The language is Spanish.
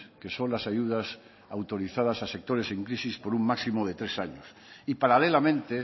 que son las ayudas autorizadas a sectores en crisis por un máximo de tres años y paralelamente